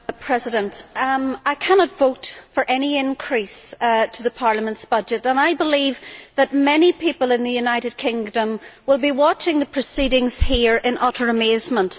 Mr President, I cannot vote for any increase in the Parliament's budget, and I believe that many people in the United Kingdom will be watching the proceedings here in utter amazement.